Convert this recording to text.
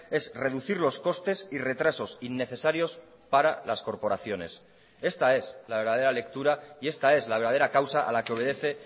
es reducir los costes y retrasos innecesarios para las corporaciones esta es la verdadera lectura y esta es la verdadera causa a la que obedece